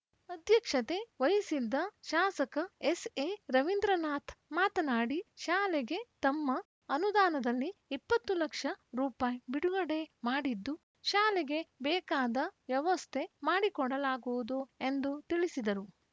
ಅಧ್ಯಕ್ಷತೆ ವಹಿಸಿದ್ದ ಶಾಸಕ ಎಸ್‌ಎರವೀಂದ್ರನಾಥ್‌ ಮಾತನಾಡಿ ಶಾಲೆಗೆ ತಮ್ಮ ಅನುದಾನದಲ್ಲಿ ಇಪ್ಪತ್ತು ಲಕ್ಷ ರೂಪಾಯಿ ಬಿಡುಗಡೆ ಮಾಡಿದ್ದು ಶಾಲೆಗೆ ಬೇಕಾದ ವ್ಯವಸ್ಥೆ ಮಾಡಿಕೊಡಲಾಗುವುದು ಎಂದು ತಿಳಿಸಿದರು